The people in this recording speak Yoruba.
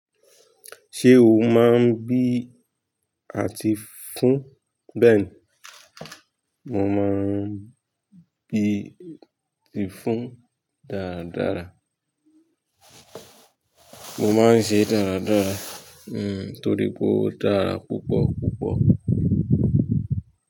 Ṣé o máa ń bí àti fún? Bẹ́ẹ̀ni, mo máa ń bí àti fún dáradára. Mo máa ń ṣe é dáradára. Hmm, torí pé ó dára púpọ̀púpọ̀.